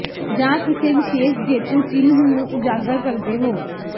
ਜਾਂ ਕਿਸੇ ਵਿਸ਼ੇਸ਼ ਜੇਤੂ ਚਿੰਨ੍ਹ ਨੂੰ ਉਜਾਗਰ ਕਰਦੇ ਹੋ